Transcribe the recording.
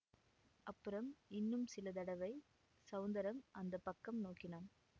அப்புறம் இன்னும் சில தடவை ஸௌந்தரம் அந்த பக்கம் நோக்கினான்